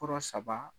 Kɔrɔ saba